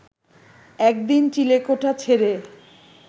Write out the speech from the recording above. একদিন চিলেকোঠা ছেড়ে